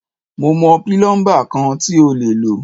Mo mọ̀ pílọ́ḿbà kan tí o lè lò.